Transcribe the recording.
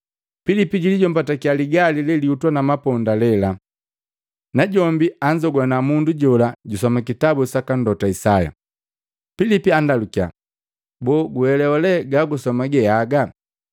Pilipi julijommbatakiya ligali lelihutwa na maponda lela, najombi anzogwana mundu jola jusoma kitabu saka Mlota Isaya. Pilipu anndalukya, “Boo guelewa lee gagusoma geaga?”